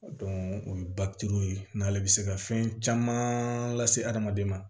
o ye ye n'ale bɛ se ka fɛn caman lase adamaden ma